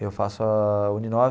Eu faço a UNINOVE.